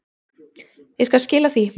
Ég skal skila því.